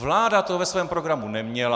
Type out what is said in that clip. Vláda to ve svém programu neměla.